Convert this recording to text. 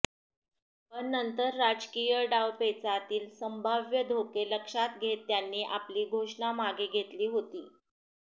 पण नंतर राजकीय डावपेचातील संभाव्य धोके लक्षात घेत त्यांनी आपली घोषणा मागे घेतली होती